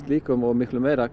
líka og miklu meira